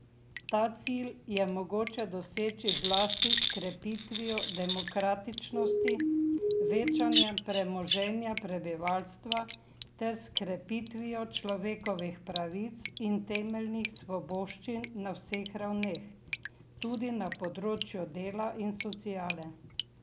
Ta cilj je mogoče doseči zlasti s krepitvijo demokratičnosti, večanjem premoženja prebivalstva ter s krepitvijo človekovih pravic in temeljnih svoboščin na vseh ravneh, tudi na področju dela in sociale.